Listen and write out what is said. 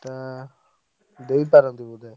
ଏଟା ଦେଇପାରନ୍ତି ବୋଧେ।